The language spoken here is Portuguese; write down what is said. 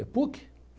É PUC.